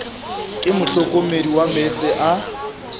ke mohlokomedi wa meetse a